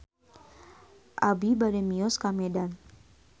Abi bade mios ka Medan